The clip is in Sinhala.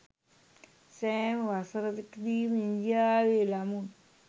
සෑම වසරකදීම ඉන්දියාවේ ළමුන්